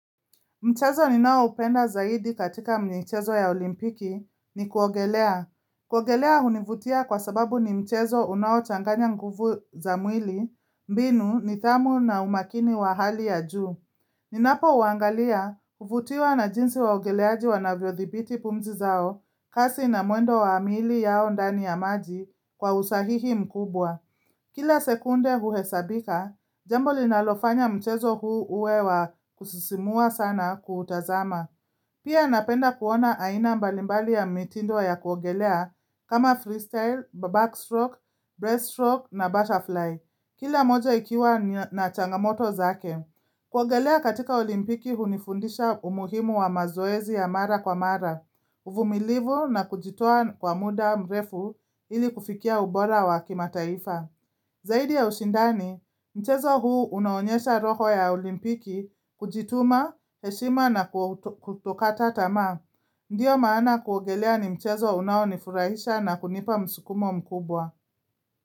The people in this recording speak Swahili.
Mchezo ni nao upenda zaidi katika michezo ya olimpiki ni kuogelea. Kuogelea hunivutia kwa sababu ni mchezo unao changanya nguvu za mwili, mbinu nidhamu na umakini wa hali ya juu. Ninapo uangalia huvutiwa na jinsi waogeleaji wanavyo thibiti pumzi zao, kasi na mwendo wa amili yao ndani ya maji kwa usahihi mkubwa. Kila sekunde huhesabika, jambo linalofanya mchezo huu uwe wa kusisimua sana kutazama. Pia napenda kuona aina mbalimbali ya mitindo ya kuogelea kama freestyle, backstroke, breaststroke na butterfly. Kila moja ikiwa na changamoto zake. Kuogelea katika olimpiki hunifundisha umuhimu wa mazoezi ya mara kwa mara, uvumilivu na kujitoa kwa muda mrefu ili kufikia ubora wa kima taifa. Zaidi ya ushindani, mchezo huu unaonyesha roho ya olimpiki, kujituma, heshima na kutokata tamaa. Ndiyo maana kuogelea ni mchezo unaonifurahisha na kunipa msukumo mkubwa.